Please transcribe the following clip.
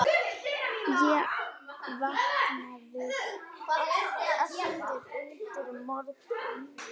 Ég vaknaði aftur undir morgun.